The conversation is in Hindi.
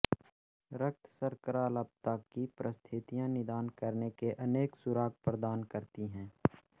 रक्तशर्कराल्पता की परिस्थितियां निदान करने के अनेक सुराग प्रदान करती हैं